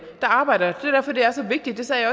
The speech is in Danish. der arbejder der er derfor det er så vigtigt det sagde